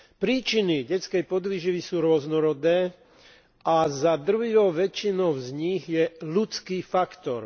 Príčiny detskej podvýživy sú rôznorodé a za drvivou väčšinou z nich je ľudský faktor.